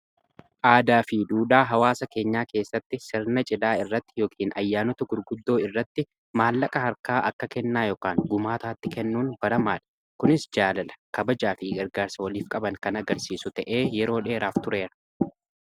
Aadaa fi duudaa hawaasa keenyaa keessatti sirna cidhaa irratti yookiin ayyaanota gurguddoo irratti maallaqa harkaa akka kennaa yookaan gumaataatti kennuun baramaadha kunis jaalala kabajaa fi gargaarsa waliif qaban kan agarsiisu ta'ee yeroo dheeraaf tureera.